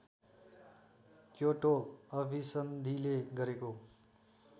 Kyoto अभिसन्धिले गरेको